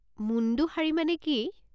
মুণ্ডু শাড়ী মানে কি?